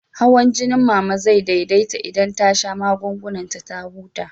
Hawan jinin Mama zai daidaita idan ta sha magungunan ta ta huta.